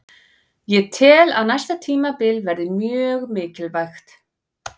Ég tel að næsta tímabil verði mjög mikilvægt.